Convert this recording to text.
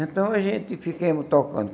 Então a gente ficamos tocando.